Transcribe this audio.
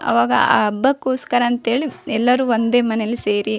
ಅವಾಗ ಆ ಹಬ್ಬಕ್ಕೋಸ್ಕರ ಅಂತ ಹೇಳಿ ಎಲ್ಲರು ಒಂದೇ ಮನೇಲಿ ಸೇರಿ --